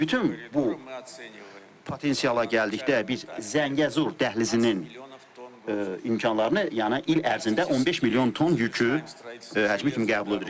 Bütün bu potensiala gəldikdə, biz Zəngəzur dəhlizinin imkanlarını, yəni il ərzində 15 milyon ton yükü həcmi kimi qəbul edirik.